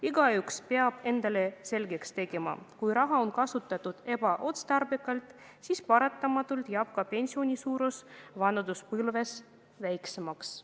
Igaüks peab endale selgeks tegema: kui raha on kasutatud ebaotstarbekalt, siis paratamatult jääb pension vanaduspõlves väiksemaks.